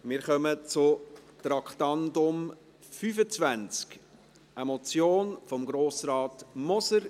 Wir kommen zum Traktandum 25, einer Motion von Grossrat Moser.